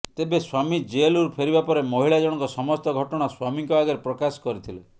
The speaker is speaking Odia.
ତେବେ ସ୍ବାମୀ ଜେଲରୁ ଫେରିବା ପରେ ମହିଳା ଜଣଙ୍କ ସମସ୍ତ ଘଟଣା ସ୍ବାମୀଙ୍କ ଆଗରେ ପ୍ରକାଶ କରିଥିଲେ